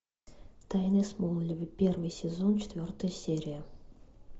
тайны смолвиля первый сезон четвертая серия